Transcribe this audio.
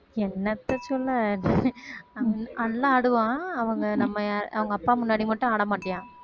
என்னத்த சொல்ல நல்~ நல்லா ஆடுவான் அவங்க நம்ம அவங்க அப்பா முன்னாடி மட்டும் ஆடமாட்டான்